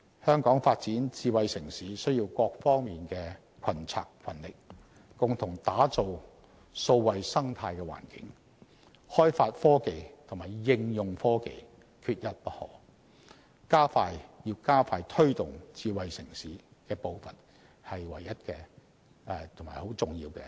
香港發展智慧城市需要各方面群策群力，共同打造數位生態環境，開發科技及應用科技，這是加快推動智慧城市發展步伐的唯一及很重要的先決條件。